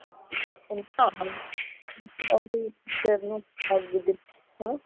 ਹਾਂ ਨਾ